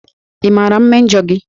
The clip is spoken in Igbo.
Ị maara mmejọ gị?